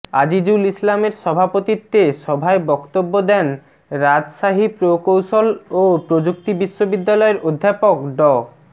আজিজুল ইসলামের সভাপতিত্বে সভায় বক্তব্য দেন রাজশাহী প্রকৌশল ও প্রযুক্তি বিশ্ববিদ্যালয়ের অধ্যাপক ড